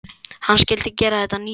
Hann skyldi gera þetta að nýju landi.